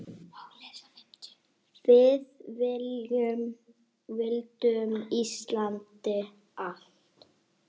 Við vildum Íslandi allt!